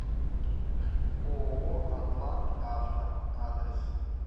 ооо атлантавто адрес